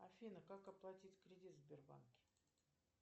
афина как оплатить кредит в сбербанке